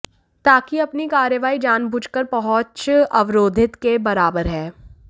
ताकि अपनी कार्रवाई जानबूझकर पहुँच अवरोधित के बराबर है